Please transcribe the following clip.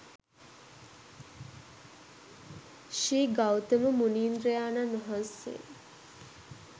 ශ්‍රී ගෞතම මුනීන්ද්‍රයාණන් වහන්සේ